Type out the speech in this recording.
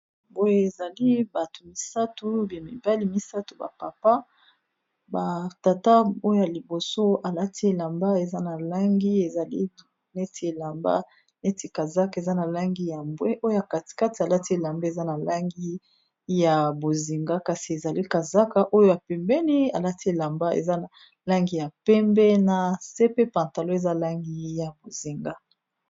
boye ezali bato misato ba mibali misato ba papa batata oya liboso alati elamba eza na langi ezali neti elamba neti kazaka eza na langi ya mbwe oyo katikati alati elamba eza na langi ya bozinga kasi ezali kazaka oyoya pembeni alati elamba eza na langi ya pembe na se pe pantalo eza langi ya bozinga